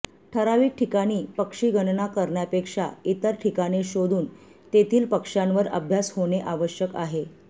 ठराविक ठिकाणी पक्षीगणना करण्यापेक्षा इतर ठिकाणे शोधून तेथील पक्ष्यांवर अभ्यास होणे आवश्यक आहे